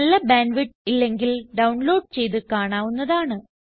നല്ല bandwidth ഇല്ലെങ്കിൽ download ചെയ്ത് കാണാവുന്നതാണ്